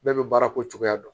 Bɛɛ bɛ baara ko cogoya dɔn